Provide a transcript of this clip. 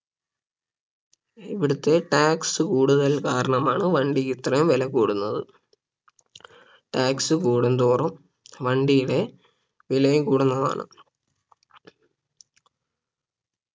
ഇവിടുത്തെ tax കൂടുതൽ കാരണമാണ് വണ്ടിക്ക് ഇത്രയും വില കൂടുന്നത് tax കൂടുന്തോറും വണ്ടിയുടെ വിലയും കൂടുന്നതാണ്